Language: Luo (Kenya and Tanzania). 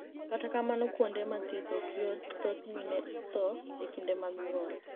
Kata kamano, kuonide ma thieth ok yot, thoth mini e tho e kinide mag niyuol.